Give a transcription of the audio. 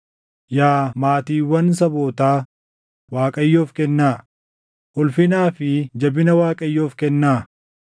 Yaa maatiiwwan sabootaa, Waaqayyoof kennaa; ulfinaa fi jabina Waaqayyoof kennaa.